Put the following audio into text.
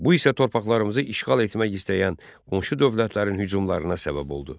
Bu isə torpaqlarımızı işğal etmək istəyən qonşu dövlətlərin hücumlarına səbəb oldu.